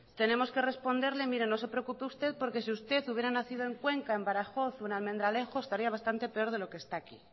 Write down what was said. tenemos que responderle mire no se preocupe usted porque si usted hubiera nacido en cuenca en badajoz o en almendralejo estaría bastante peor de lo que está aquí